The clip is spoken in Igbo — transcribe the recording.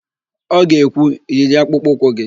Ọ ga-ekwu, "yiri akpụkpọụkwụ gị"!